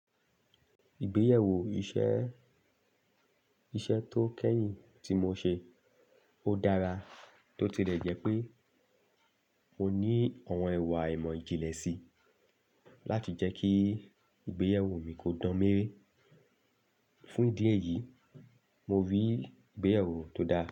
Ìgbéyàwó iṣẹ́, iṣẹ́ tó kẹ́yìn tí mo ṣe ó dára bó ti lẹ̀jẹ́pé mo ní ọ̀wọn ẹwà ẹ̀mọ̀ ìjìnlẹ̀ sí láti jẹ́ kí ìgbéyàwó mi kó dán méré. Fún ìdí èyí, mo rí ìgbéyàwó tó dá.